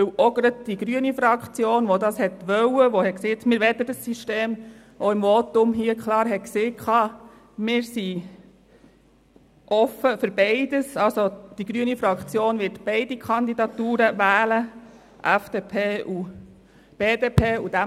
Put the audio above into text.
Denn gerade die grüne Fraktion wollte diesen und hat im Votum auch klar gesagt, sie wollten dieses System und seien offen für beides, die grüne Fraktion werde beide Kandidaturen, vonseiten der FDP und der BDP, unterstützen.